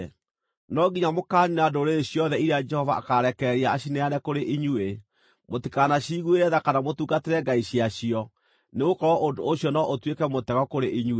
No nginya mũkaaniina ndũrĩrĩ ciothe iria Jehova akaarekereria acineane kũrĩ inyuĩ; mũtikanaciguĩre tha kana mũtungatĩre ngai ciacio, nĩgũkorwo ũndũ ũcio no ũtuĩke mũtego kũrĩ inyuĩ.